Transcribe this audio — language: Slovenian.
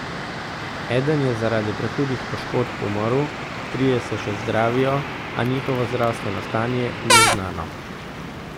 Eden je zaradi prehudih poškodb umrl, trije se še zdravijo, a njihovo zdravstveno stanje ni znano.